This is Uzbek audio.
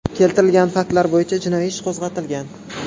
Keltirilgan faktlar bo‘yicha jinoiy ish qo‘zg‘atilgan.